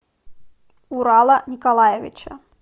урала николаевича